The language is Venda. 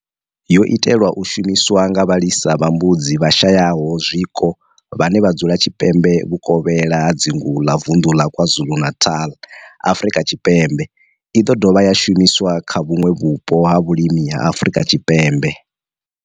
Yo itelwa u shumiswa nga vhalisa vha mbudzi vhashayaho zwiko vhane vha dzula tshipembe vhukovhela ha dzingu la Vunḓu la KwaZulu-Natal, Afrika Tshipembe i ḓo dovha ya shumiswa kha vhuṋwe vhupo ha vhulimi ha Afrika Tshipembe.